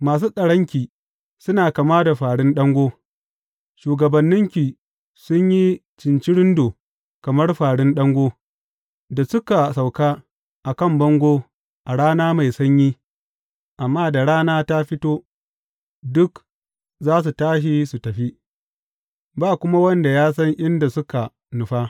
Masu tsaronki suna kama da fāri ɗango, shugabanninki sun yi cincirindo kamar fārin ɗango da suka sauka a kan bango a rana mai sanyi, amma da rana ta fito, duk za su tashi su tafi, ba kuma wanda ya san inda suka nufa.